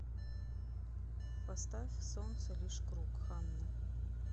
поставь солнце лишь круг ханна